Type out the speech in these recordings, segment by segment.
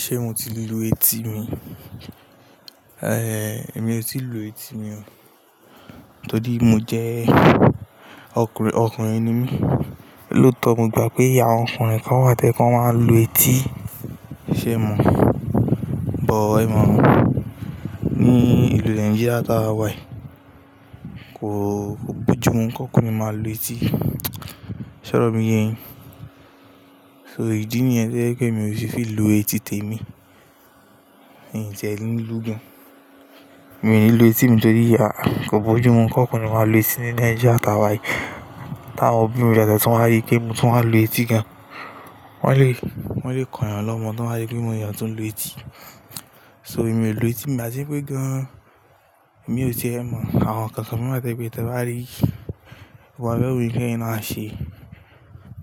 Ṣé mo ti lu etí mi? Ehn, èmi ò tíì lu etí mi o. Torí mo jẹ ọkùnrin, ọkùnrin ni mí. Lóòótọ́, mo gbà pé àwọn ọkùnrin kan wà tẹ́ ẹ kan máa ń lu etí. Ṣé è mọ̀? But, ẹ mọ̀ ọ́n, ní ìlú Nigeria táa wà yìí, kò gbójú mú kí ọkùnrin máa lu etí. Sọ̀rọ̀ mi yẹhin. So ìdí nìyẹn jẹ́ pé mi ò ti fi lù etí tèmi. N jẹ̀ ní lù gan. Mi ò ní lu etí mi torí àh, kò gbójú mú kí ọkùnrin máa lu etí ní Nigeria táa wà yìí. Tí àwọn òbí mi jáde, tí wọ́n bá rí pé mo tún máa lu etí gan, wọ́n lè, wọ́n lè kàn yàn lọ́mọ. Tí wọ́n bá rí pé mo ni ọ̀yàn tó ń lu etí. So èmi ò lu etí, ì máa ṣe pé gan. Èmi ò ṣe ẹ mọ̀, àwọn kànkàn tó bá wá tẹ́bi tẹ́ ba rí, wọ́n bá rí òun kí ẹ náà ṣe.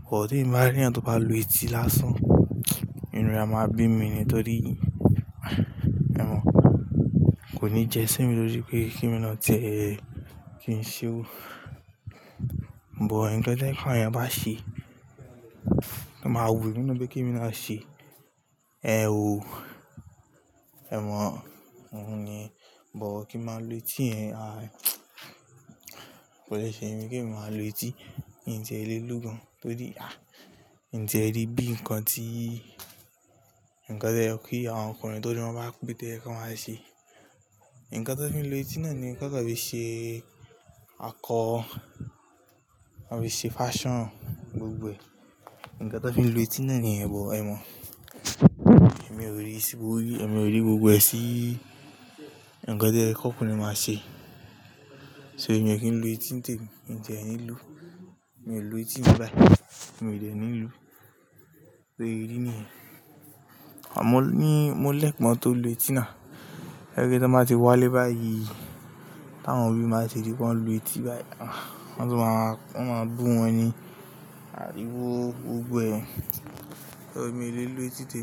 Kò tí ì bá rí ẹ̀yàn tó bá lu etí lásán. Ẹni ọ̀rẹ́ máa bí mi nítorí, ẹ mọ̀ ọ́n, kò ní jẹ sẹ́mì lójú pé kí ni wọ́n jẹ́, kí n ṣe o. But, ẹgbẹ́ tẹ́ ẹ kan ẹ̀yàn bá ṣí, máa wù ú ní nú pé kí ni wọ́n á ṣe. Ehn o. Ẹ mọ̀ ọ́n, òun ni. But kí máa lu etí ẹ, àh, kò lè ṣe mí kí n máa lu etí. N jẹ́ lè lù gan torí, àh, n jẹ́ rí bí ǹkan tí, ǹkan tẹ́ ẹ pé àwọn ọkùnrin tórí wọ́n bá kú tẹ́ ẹ kí wọ́n máa ṣe. Ǹkan tó fi ń lu etí náà ni ǹkan tó fi ṣe akọ, wọ́n fi ṣe fashion gbogbo ẹ̀. Ǹkan tó fi ń lu etí náà ni, ẹ bọ, ẹ mọ̀ ọ́n. Èmi ò rí sí gbogí, èmi ò rí gbogbo ẹ̀ sí ǹkan tẹ́ ẹ kí ọkùnrin máa ṣe. So èmi ò kí ń lu etí tèmi. N jẹ̀ ẹ ní lù. Mi ò lu etí mi báyìí. Mi ò jẹ̀ ẹ ní lù. So ìdí nìyẹn. Àwọn ọmọ ní, mo lè pọn tó lu etí náà. Jẹ́ pé tí wọ́n bá ti wálé báyìí, tí àwọn òbí mi bá tẹ̀le pé wọ́n lu etí báyìí, ah, wọ́n sì máa, wọ́n máa bù wọ́n ní ariwo gbogbo ẹ̀. So èmi ò lè lu etí tèmi.